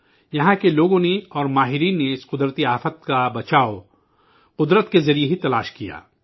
یہاں کے لوگوں اور ماہرین نے اس قدرتی آفت سے بچنے کے لئے قدرتی طریقہ ہی تلاش کیا